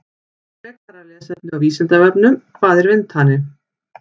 Frekara lesefni á Vísindavefnum: Hvað er vindhani?